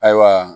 Ayiwa